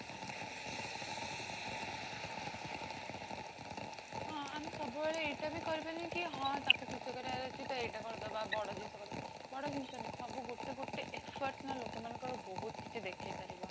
ହଁ ଆମେ ସବୁ ବେଳେ ଏତେବି କରିବନି କି ହଁ ତାକୁ ଖୁସି କରିବାର ଅଛି ତ ଏଇଟା କଣ ଦବା ବଡ଼ ଜିନିଷ ଦେବା, ବଡ଼ ଜିନିଷ ନାହିଁ ସବୁ ଗୋଟେ ଗୋୟତେ efforts ନା ଲୋକ ମାନଙ୍କ ବହୁତ କିଛି ଦେଖେଇ ପାରିବ